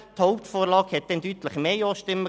( Doch, schon.